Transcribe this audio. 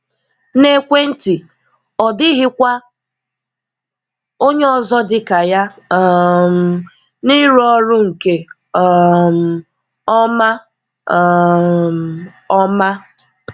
N’ekwenti, ọ dịghịkwa onye ọzọ dị ka ya um n’ịrụ ọrụ nke um ọma. um ọma.